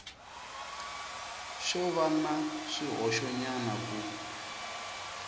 xo va na swihoxonyana ku